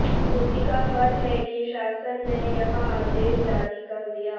उसी का फल है कि शासन ने यह आदेश जारी कर दिया